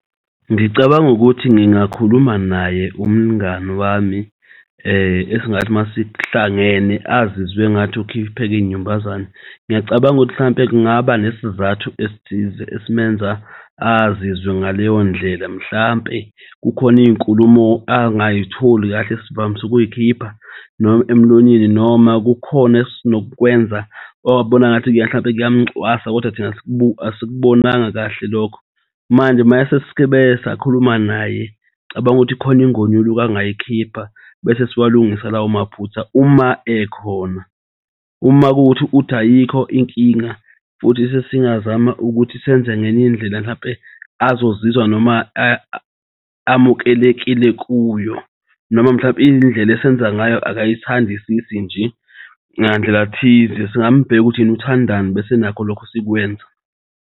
Ngicabanga ukuthi ngingakhuluma naye umngani wami esingathi masihlangene azizwe engathi ukhiphek'nyumbazane. Ngiyacabanga ukuthi mhlawumpe kungaba nesizathu esithize esimenza azizwe ngaleyo ndlela. Mhlampe kukhona iy'nkulumo angayitholi kahle esivamisukuy'khipha emlonyeni noma kukhona esinokukwenza abona ngathi mhlawumbe kuyamucwasa kodwa thina asikubonanga kahle lokho. Manje maseskebe sakhuluma naye. Cabanga ukuthi kukhona ingonyuluka angayikhipha bese siwalungisa lawo maphutha uma ekhona. Uma kuwukuthi uthi ayikho inkinga futhi sesingazama ukuthi senze ngeny'ndlela mhlampe azozizwa noma amukelekile kuyo noma mhlampe iy'ndlela esenza ngayo akayithandisisi nje ngandlelathize singambheka ukuthi yena uthandani bese nakho lokho sikwenza.